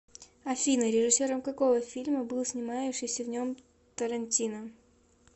афина режиссером какого фильма был снимающиися в нем тарантино